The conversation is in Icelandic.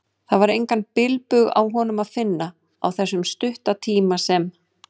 Það var engan bilbug á honum að finna, á þessum stutta tíma sem